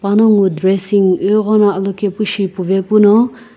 panongu dressing ighono alokepu shi puvepuno.